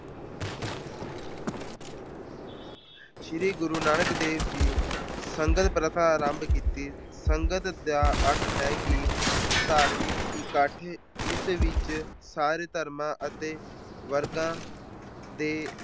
ਸ਼੍ਰੀ ਗੁਰੂ ਨਾਨਕ ਦੇਵ ਜੀ ਨੇ ਸੰਗਤ ਪ੍ਰਥਾ ਆਰੰਭ ਕੀਤੀ। ਸੰਗਤ ਦਾ ਅਰਥ ਹੈ ਕਿ ਧਾਰਮਿਕ ਇੱਕਠ ਜਿਸ ਵਿੱਚ ਸਾਰੇ ਧਰਮਾਂ ਅਤੇ ਵਰਗਾਂ ਦੇ